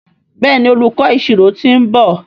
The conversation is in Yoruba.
Béèni olùkó ìṣirò t'in nbọ.